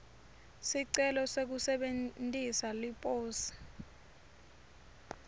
sicelo sekusebentisa liposi